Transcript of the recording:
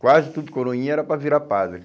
Quase todo coroinha era para virar padre.